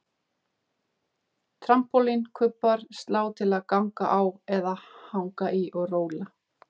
Trampólín, kubbar, slá til að ganga á eða hanga í og róla